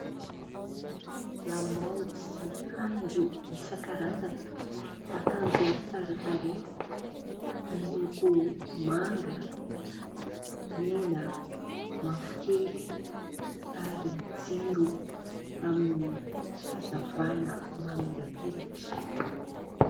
Lamaody sy haingo isankarazany. Akanjo tsara tarehy miloko manga, mena, mavokely ary jiro amin' ny hazavana mamirapiratra.